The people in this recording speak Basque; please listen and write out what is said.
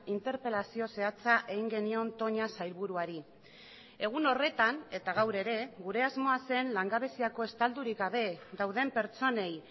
interpelazio zehatza egin genion toña sailburuari egun horretan eta gaur ere gure asmoa zen langabeziako estaldurik gabe dauden pertsonei